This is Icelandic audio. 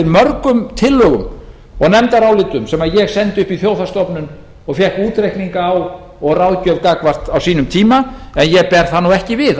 mörgum tillögum og nefndarálitum sem ég sendi upp í þjóðhagsstofnun og fékk útreikninga á og ráðgjöf gagnvart á sínum tíma en ég ber það nú ekki við